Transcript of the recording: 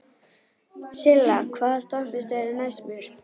Silla, hvaða stoppistöð er næst mér?